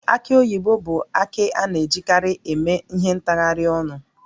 Aki oyibo bụ akị a na-ejikarị eme ihe ntaharịa ọnụ